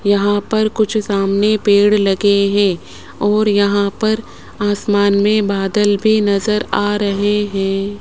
यहां पर कुछ सामने पेड़ लगे है और यहां पर आसमान में बादल भी नजर आ रहे है।